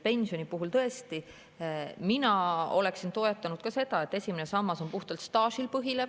Pensioni puhul tõesti mina oleksin toetanud ka seda, et esimene sammas põhineks puhtalt staažil.